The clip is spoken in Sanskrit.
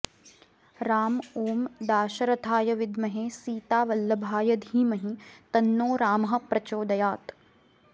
राम ॐ दाशरथाय विद्महे सीतावल्लभाय धीमहि तन्नो रामः प्रचोदयात्